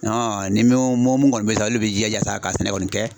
ni mɔ mɔmu kɔni bɛ sa olu bɛ jija sa ka sɛnɛ kɔni kɛ.